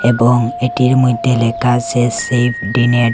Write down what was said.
এবং এটির মইধ্যে লেখা আসে সেফ ডি নেট ।